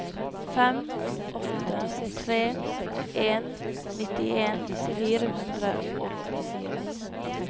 fem åtte tre en nittien fire hundre og åttifire